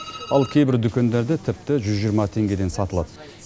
ал кейбір дүкендерде тіпті жүз жиырма теңгеден сатылады